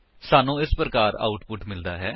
ਸਾਨੂੰ ਇਸ ਪ੍ਰਕਾਰ ਆਉਟਪੁਟ ਮਿਲਦਾ ਹੈ